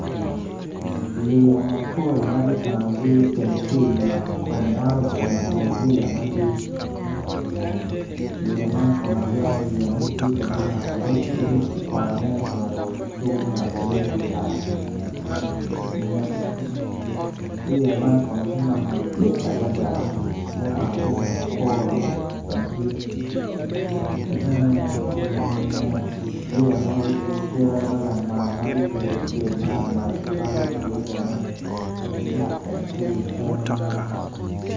Yeya mapol ma kicanogi i teng nam ma pol pa yeya magi, yaya man kono abyeko ni kitiyo kwede mw mako rec me kwange me cito tung loka yung kuca nget yeya man kono tye nama madit adada ma omako piny madit ki bene nget yaya nab tye cere madit ma kigeto cel malamal iye.